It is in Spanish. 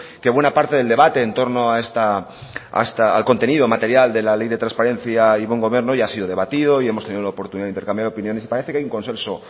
que buena parte del debate en torno al contenido material de la ley de transparencia y buen gobierno hoy ha sido debatido y hemos tenido oportunidad de intercambiar opiniones y parece que hay